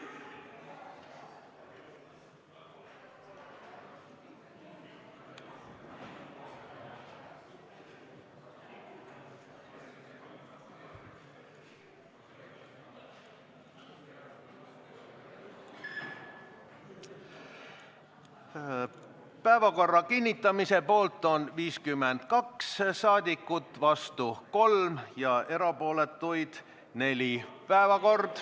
Hääletustulemused Päevakorra kinnitamise poolt on 52 rahvasaadikut, vastu 3, erapooletuid 4.